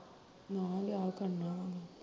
ਨਾ ਵਿਆਹ ਕਰਨਾ ਵਾ